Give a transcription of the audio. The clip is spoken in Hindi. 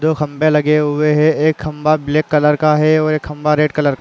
दो खंभे लगे हुए हैं। एक खंभा ब्लैक कलर का और एक खंभा रेड कलर --